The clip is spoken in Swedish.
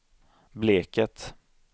Bleket